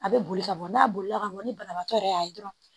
A bɛ boli ka bɔ n'a bolila ka mɔn ni banabaatɔ yɛrɛ y'a ye dɔrɔn